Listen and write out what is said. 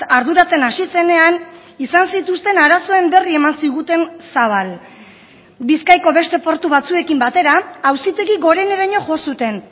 arduratzen hasi zenean izan zituzten arazoen berri eman ziguten zabal bizkaiko beste portu batzuekin batera auzitegi goreneraino jo zuten